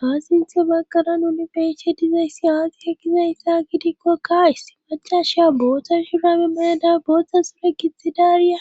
Haasinth baggara nuni beshe dizayssi haagike gizayssa gidikkokka isti macasha booththa shurame mayada booththa sure gixidaariya